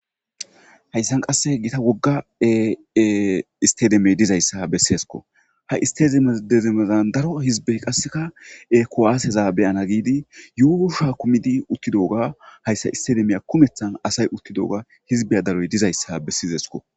Hayssan qasse gita wogga isttedemey dizayssa besseesko ha isttedezemezan daro hizbey qasseka he kuwaseza be'ana giidi yuushuwa kumidi uttidoga hayssa isttedemiya kumethan asay uttidoga hizbiya daroy dizayssa bessezesko.